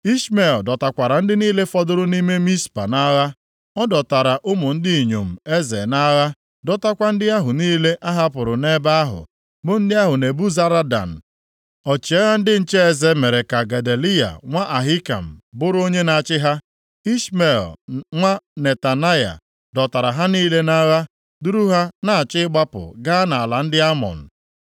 Ishmel dọtakwara ndị niile fọdụrụ nʼime Mizpa nʼagha. Ọ dọtara ụmụ ndị inyom eze nʼagha, dọtakwa ndị ahụ niile a hapụrụ nʼebe ahụ, bụ ndị ahụ Nebuzaradan, ọchịagha ndị nche eze mere ka Gedaliya nwa Ahikam bụrụ onye na-achị ha. Ishmel nwa Netanaya dọtara ha niile nʼagha duru ha na-achọ ịgbapụ gaa nʼala ndị Amọn.